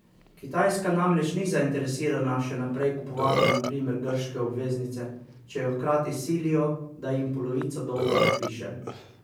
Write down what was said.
Kitajska namreč ni zainteresirana še naprej kupovati na primer grške obveznice, če jo hkrati silijo, da jim polovico dolga odpiše.